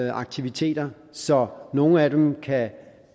i aktiviteter så nogle af dem kan